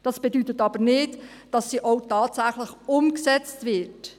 Das bedeutet aber nicht, dass sie auch tatsächlich umgesetzt wird.